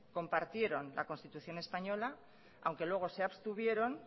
compartieron la constitución española aunque luego se abstuvieron